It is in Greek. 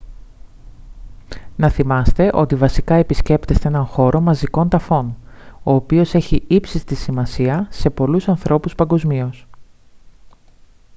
να θυμάστε ότι βασικά επισκέπτεστε έναν χώρο μαζικών ταφών ο οποίος έχει ύψιστη σημασία σε πολλούς ανθρώπους παγκοσμίως